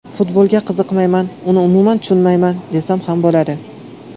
Futbolga qiziqmayman, uni umuman tushunmayman, desam ham bo‘ladi.